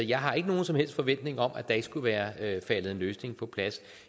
jeg har ikke nogen som helst forventning om at der ikke skulle være faldet en løsning på plads